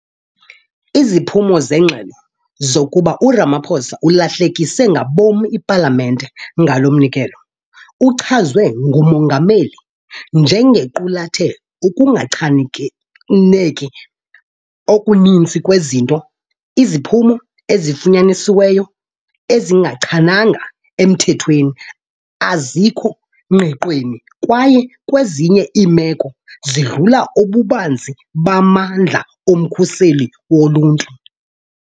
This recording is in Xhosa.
Iziphumo zengxelo, zokuba uRamaphosa ulahlekise ngabom ipalamente ngalo mnikelo, uchazwe ngumongameli njengequlathe "ukungachaneki okuninzi kwezinto, iziphumo ezifunyanisiweyo azingachananga emthethweni, azikho ngqiqweni kwaye kwezinye iimeko, zidlula ububanzi bamandla omkhuseli woluntu.